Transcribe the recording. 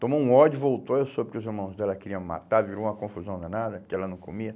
Tomou um ódio, voltou, eu soube que os irmãos dela queriam me matar, virou uma confusão danada, porque ela não comia.